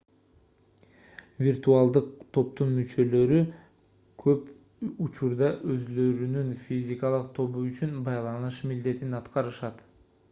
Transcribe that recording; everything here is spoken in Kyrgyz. виртуалдык топтун мүчөлөрү көп учурда өзүлөрүнүн физикалык тобу үчүн байланыш милдетин аткарышат